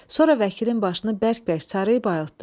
Sonra vəkilin başını bərk-bərk sarıyıb ayıltdı.